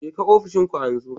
Jeka ofishin ku a yanzu